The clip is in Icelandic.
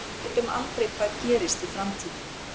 Við vitum aldrei hvað gerist í framtíðinni.